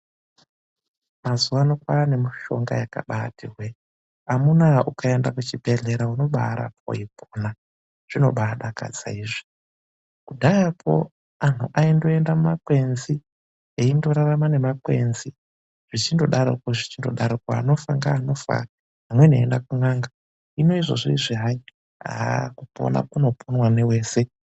Mazuva ano paane mushonga yakabati hwe..Amuna ukaenda kuchibhedhlera unobarapwa weipona. Zvinobadakadza izvi. Kudhayakwo antu aindoenda mumakwenzi eindorarama namakwenzi zvichindodaropo zvichindodaropo. Anofa ngeanofa, amweni achienda kun'anga. Hino izvozvi izvi hayi kupona kunoponwa newese.